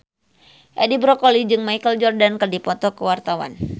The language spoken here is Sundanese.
Edi Brokoli jeung Michael Jordan keur dipoto ku wartawan